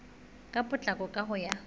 ka potlako ka ho ya